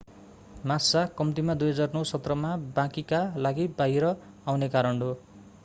massa कम्तिमा 2009 सत्रमा बाँकीका लागि बाहिर आउने कारण हो